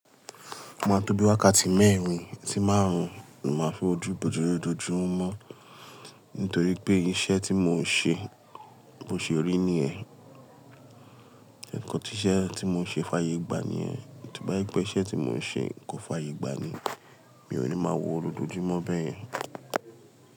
O máa tó bí wákàtí mẹ́rin, sí márùn-ún ni mo máa fi wojú ibojú ni ojojúmọ́. Nítorí pé iṣẹ́ tí mò ń ṣe, bi o ṣe rí niyẹ́n. Nkan tí iṣẹ́ tí mò ń ṣe fàye gbà niyẹ́n. Tí o bá jẹ pé iṣẹ́ tí mò ń ṣe kò fààyè gbà ni, mi ò ní máa wo lojójúmọ́ bẹ́yẹn.